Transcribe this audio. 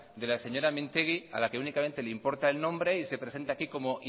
de la señora mintegi a la que únicamente le importa el nombre y se presenta aquí como